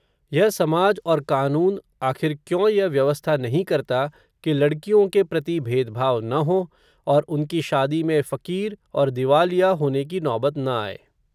यह समाज और कानून, आखिर क्यों यह व्यवस्था नहीं करता, कि लडक़ियों के प्रति, भेदभाव न हो, और उनकी शादी में फ़कीर, और दीवालिया होने की नौबत, न आये